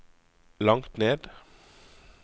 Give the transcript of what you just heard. langt ned